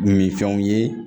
Minfɛnw ye